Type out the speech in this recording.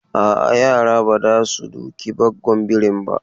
A'a, yara ba za su duki gwaggon birin ba.